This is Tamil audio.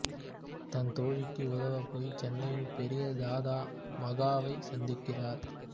தன் தோழிக்கு உதவப்போய் சென்னையின் பெரிய தாதா மகாவை சந்திக்கிறார்